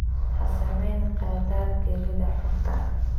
Ha samayn khaladaad gelida xogta